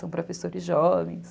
São professores jovens.